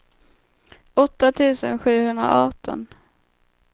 åtta tusen sjuhundraarton